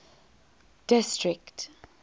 district